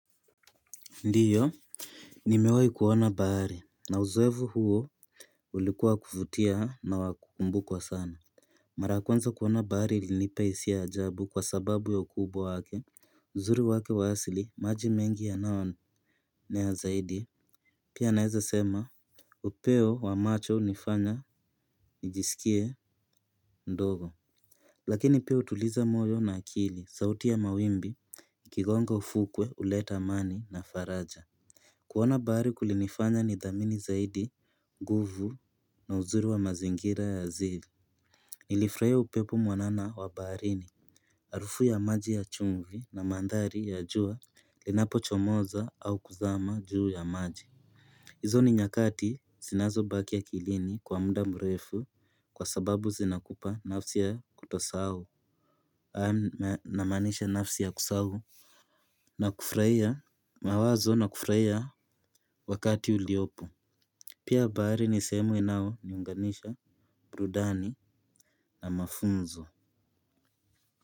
Ndiyo. Nimewahi kuona bahari na uzoefu huo. Ulikuwa wa kuvutia na wa kukumbukwa sana. Mara kwanza kuona bahari ilinipa hisia ya ajabu kwa sababu ya ukubwa wake uzuri wake wa asili maji mengi ya nao na ya zaidi pia naweza sema. Upeo wa macho hunifanya nijisikie ndogo. Lakini pia hutuliza moyo na akili sauti ya mawimbi. Kigonga ufukwe huleta amani na faraja. Kuona bahari kulinifanya ni dhamini zaidi, nguvu na uzuri wa mazingira ya asili. Nilifurahia upepo mwanana wa baharini. Harufu ya maji ya chumvi na mandhari ya jua linapo chomoza au kuzama juu ya maji. Hizo ni nyakati zinazo baki akilini kwa muda mrefu kwa sababu zinakupa nafsi ya kutosahau. Na maanisha nafsi ya kusahau. Na kufurahia mawazo na kufurahia wakati uliopo. Pia bahari ni sehemu inao niunganisha, burudani na mafunzo.